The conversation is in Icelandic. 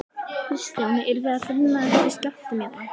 Kristján: Eruð þið að finna fyrir skjálftum hérna?